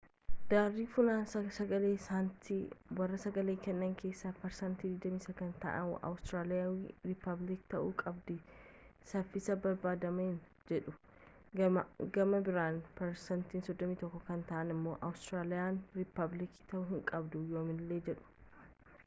daari funaansa-sagalee sanatti warraa sagalee kennan keessa parsaantiin 29 kan ta'aan awuustiraliyaan riipabliika ta'uu qabdi safiisa barbaadameen jedhuu gama biraan parsaantii 31 kan ta'an ammo awuustiraliyaan riipablika ta'uu hin qabdu yoommilee jedhu